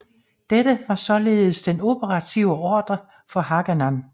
Dette var således den operative ordre for Haganah